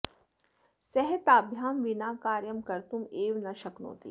सः ताभ्यां विना कार्यं कर्तुम् एव न शक्नोति